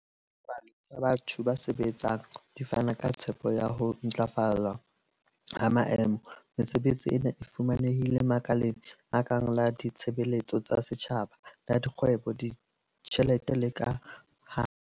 Dipalo tsa batho ba sebetsang di fana ka tshepo ya ho ntlafala ha maemo. Mesebetsi ena e fumanehile makaleng a kang la ditshebeletso tsa setjhaba, la dikgwebo, ditjhelete le ka ha.